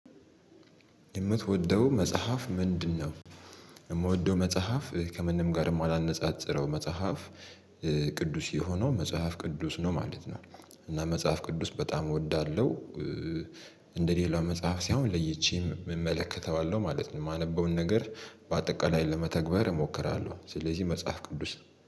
የምትወደው መጽሐፍ ምንድነው? የምወደው መጽሐፍ ከምንም ጋር የማላነጻጽረው መጽሐፍ ቅዱስ የሆነው መጽሐፍ ቅዱስ ነው ማለት ነው። እና መጽሐፍ ቅዱስ በጣም እወዳለሁ። እንደ ሌላ መጽሐፍ ሳይሆን ለይቼ እመለከተዋለሁ ማለት ነው። የማነበውን ነገር በአጠቃላይ ለመተግበር እሞክራለሁ ስለዚህ መጽሐፍ ቅዱስ